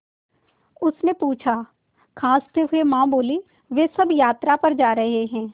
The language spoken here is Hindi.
उसने पूछा खाँसते हुए माँ बोलीं वे सब यात्रा पर जा रहे हैं